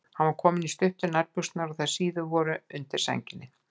Hann var kominn í stuttu nærbuxurnar og þær síðu voru undir sænginni.